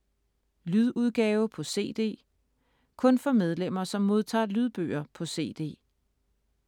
Lydudgave på cd (kun for medlemmer, som modtager lydbøger på cd)